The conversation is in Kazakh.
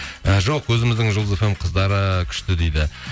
і жоқ өзіміздің жұлдыз фм нің қыздары күшті дейді